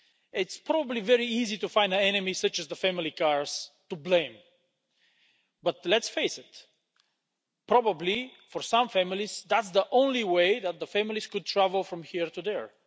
It's probably very easy to find enemies, such as the family car, to blame but, let's face it, probably for some families that's the only way that the family could travel from here to there.